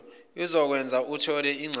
ezokwenza uthole incaze